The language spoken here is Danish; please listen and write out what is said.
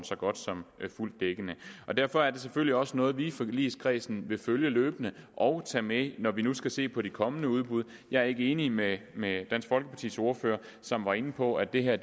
så godt som fuld dækning og derfor er det selvfølgelig også noget vi i forligskredsen vil følge løbende og tage med når vi nu skal se på de kommende udbud jeg er ikke enig med med dansk folkepartis ordfører som var inde på at det her